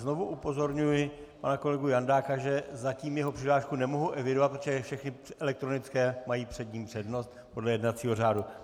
Znovu upozorňuji pana kolegu Jandáka, že zatím jeho přihlášku nemohu evidovat, protože všechny elektronické mají před ním přednost podle jednacího řádu.